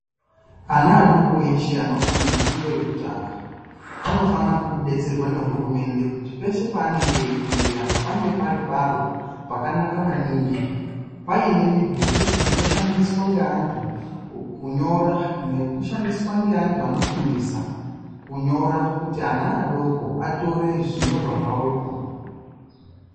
Ana adoko eshe anofunda fundo yekutanga anofana kubetserwa nehurumende kuti peshe paanenge eifundira pange pari paro pakanaka maningi paine midhuri inoshandiswa ngeantu kunyora nekushandiswa ngeantu anofundisa kunyora kuti ana adoko atore zvinyorwa zvawo ipona.